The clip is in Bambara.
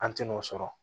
An tin'o sɔrɔ